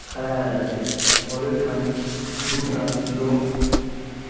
খাড়া আছে। ওর ঐখান দুটা লোক।